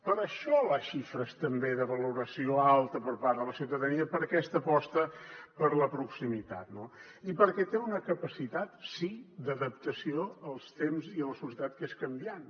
per això les xifres també de valoració alta per part de la ciutadania per aquesta aposta per la proximitat no i perquè té una capacitat sí d’adaptació als temps i a la societat que és canviant